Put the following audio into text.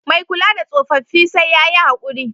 Mai kula da tsofaffi sai ya yi haƙuri.